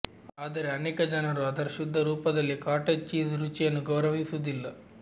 ಆದರೆ ಅನೇಕ ಜನರು ಅದರ ಶುದ್ಧ ರೂಪದಲ್ಲಿ ಕಾಟೇಜ್ ಚೀಸ್ ರುಚಿಯನ್ನು ಗೌರವಿಸುವುದಿಲ್ಲ